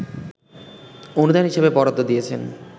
অনুদান হিসেবে বরাদ্দ দিয়েছেন